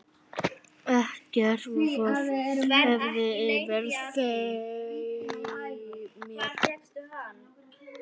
Ekkert vofði yfir mér.